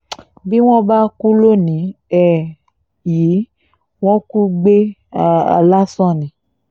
bí wọ́n bá kú lónìí um yìí wọ́n kù gbé um lásán ni